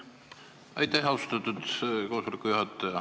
Aitäh, austatud juhataja!